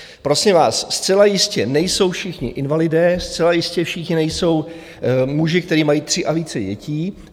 Prosím vás, zcela jistě nejsou všichni invalidé, zcela jistě všichni nejsou muži, kteří mají tři a více dětí.